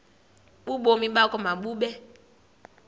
ubomi bakho mabube